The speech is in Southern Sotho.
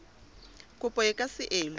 kopo e ka se elwe